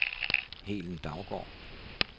Helen Daugaard